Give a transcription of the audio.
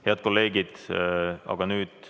Head kolleegid!